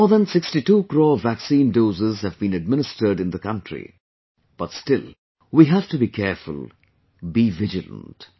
More than 62 crore vaccine doses have been administered in the country, but still we have to be careful, be vigilant